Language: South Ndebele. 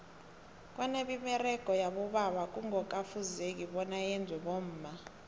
kwanemiberego yabobaba kungoka fuzeki bona yenzwe bomma